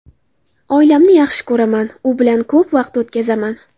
Oilamni yaxshi ko‘raman, u bilan ko‘p vaqt o‘tkazaman.